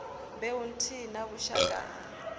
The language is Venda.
mbeu nthihi na vhushaka ha